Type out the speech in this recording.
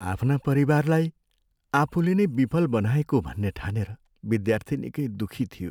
आफ्ना परिवारलाई आफूले नै विफल बनाएको भन्ने ठानेर विद्यार्थी निकै दुखी थियो।